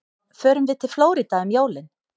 Förum við til Flórída um jólin?